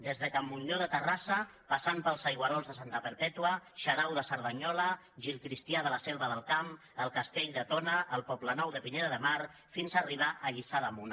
des de can montllor de terrassa passant pels aigüerols de santa perpètua xarau de cerdanyola gil cristià de la selva del camp el castell de tona el poblenou de pineda de mar i fins arribar a lliçà d’amunt